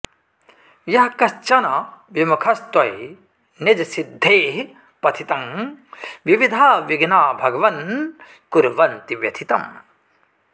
यः कश्चन विमुखस्त्वयि निजसिद्धेःपथि तं विविधा विघ्ना भगवन् कुर्वन्ति व्यथितम्